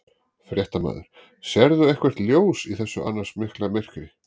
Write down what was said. Fréttamaður: Sérðu eitthvert ljós í þessu annars mikla myrkri?